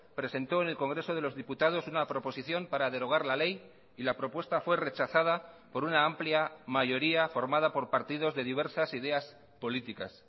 presentó en el congreso de los diputados una proposición para derogar la ley y la propuesta fue rechazada por una amplia mayoría formada por partidos de diversas ideas políticas